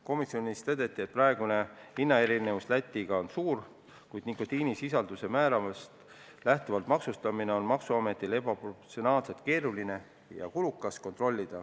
Komisjonis tõdeti, et praegune hinnaerinevus Lätiga võrreldes on suur, kuid nikotiinisisalduse määrast lähtuvat maksustamist on maksuametil ebaproportsionaalselt keeruline ja kulukas kontrollida.